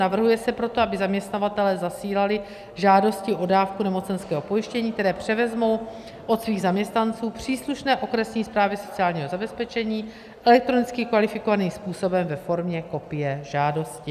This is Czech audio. Navrhuje se proto, aby zaměstnavatelé zasílali žádosti o dávku nemocenského pojištění, které převezmou od svých zaměstnanců, příslušné okresní správě sociálního zabezpečení elektronicky kvalifikovaným způsobem ve formě kopie žádosti.